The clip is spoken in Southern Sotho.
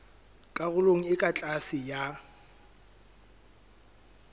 karolong e ka tlase ya